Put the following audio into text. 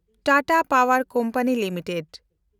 ᱴᱟᱴᱟ ᱯᱟᱣᱮᱱᱰ company limited